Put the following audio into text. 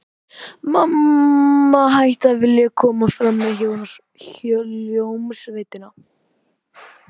Mamma hætti að vilja koma fram með hljómsveitinni.